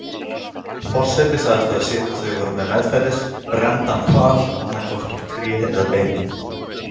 Forseti sagðist hafa séð hvað þau höfðu meðferðis, renndan hval, annaðhvort úr tré eða beini.